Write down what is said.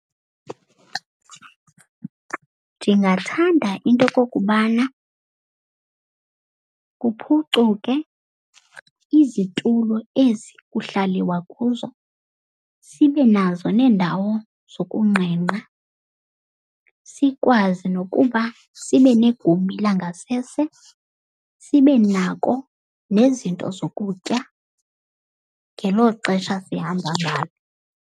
Ndingathanda into yokokubana kuphucuke izitulo ezi kuhlaliwa kuzo. Sibe nazo neendawo zokungqengqa. Sikwazi nokuba sibe negumbi langasese. Sibe nako nezinto zokutya ngelo xesha sihamba ngalo.